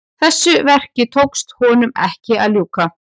Þessu verki tókst honum ekki að ljúka.